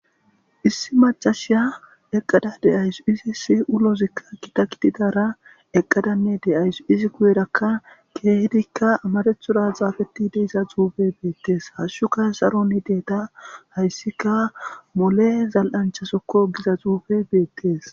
issi macashiya eqqada de'awus, izis ulozikka gita gididara eqqadanne de'awus izi guyerakka keehdikka amarathora xafettid diza zuufey beettes , hashshuka saron yideeta hayssika mole zal'ancha sokko giza xuufey beettes.